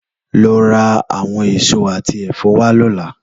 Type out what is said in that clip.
Lò rá áwòn ésó àtí èfò wá lòlá